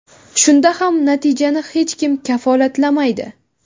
Shunda ham natijani hech kim kafolatlamaydi.